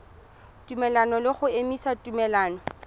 tumelelano le go emisa tumelelano